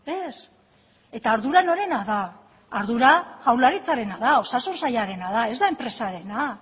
ez eta ardura norena da ardura jaurlaritzarena da osasun sailarena da ez da enpresarena